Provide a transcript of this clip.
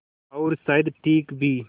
और शायद ठीक भी